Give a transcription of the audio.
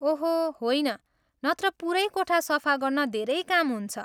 ओहो होइन, नत्र पुरै कोठा सफा गर्न धेरै काम हुन्छ!